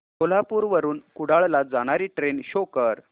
कोल्हापूर वरून कुडाळ ला जाणारी ट्रेन शो कर